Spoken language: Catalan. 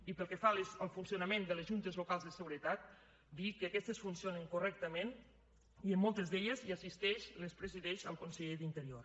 i pel que fa al funcionament de les juntes locals de seguretat dir que aquestes funcionen correctament i en moltes d’elles hi assisteix les presideix el conseller d’interior